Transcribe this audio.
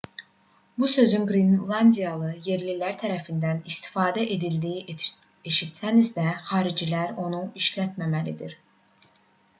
bu sözün qrenlandiyalı yerlilər tərəfindən istifadə edildiyini eşitsəniz də xaricilər onu işlətməməlidir